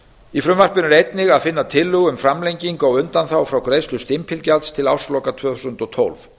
í frumvarpinu er einnig að finna tillögu um framlengingu á undanþágu frá greiðslu stimpilgjalds til ársloka tvö þúsund og tólf